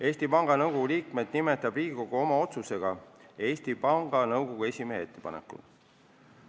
Eesti Panga Nõukogu liikmed nimetab Riigikogu oma otsusega Eesti Panga Nõukogu esimehe ettepanekul.